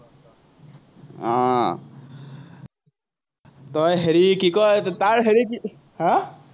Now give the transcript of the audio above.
আহ তই হেৰি কি কয়, তাৰ হেৰি আহ